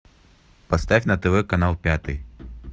поставь на тв канал пятый